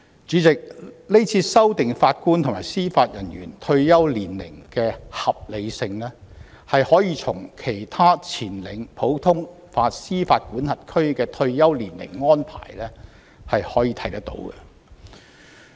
主席，今次修訂法官及司法人員退休年齡的合理性可見於其他領先普通法司法管轄區的退休年齡安排。